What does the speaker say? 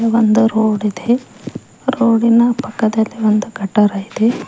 ಇಲ್ಲಿ ಒಂದ ರೋಡ್ ಇದೆ ರೋಡಿನ ಪಕ್ಕದಲಿ ಒಂದು ಗಟರ ಇದೆ.